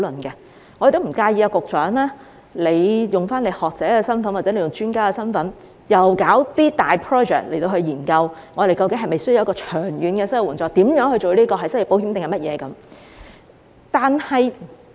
我們亦不介意局長以學者或專家的身份展開大型項目，研究我們是否需要長遠的失業援助，這應名為失業保險或其他。